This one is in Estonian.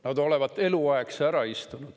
Nad olevat eluaegse ära istunud.